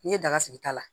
N'i ye daga sigi ta la